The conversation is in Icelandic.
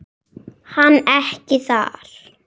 Hann ekki þar.